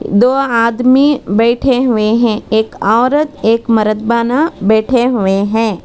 दो आदमी बैठे हुए हैं एक औरत एक मरद बैठे हुए हैं।